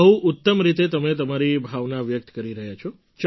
બહુ ઉત્તમ રીતે તમે તમારી ભાવના વ્યક્ત કરી રહ્યા છો